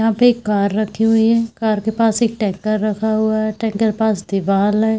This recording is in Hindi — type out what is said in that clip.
यहाँ पे एक कार रखी हुई है कार के पास एक टैंकर रखा हुआ है टैंकर पास दीवाल है।